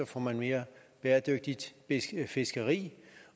får man mere bæredygtigt fiskeri